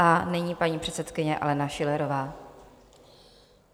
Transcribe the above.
A nyní paní předsedkyně Alena Schillerová.